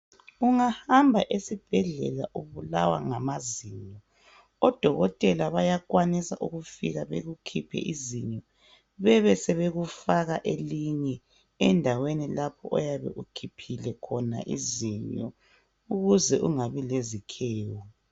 Ungahamba esibhedlela ubulawa ngamazinyo odokotela bayakwanisa ukufika bekukhiphe izinyo bebe sebekufaka elinye endaweni lapho oyabe ukhiphile elinye izinyo ukuze ungabi lezikhewu.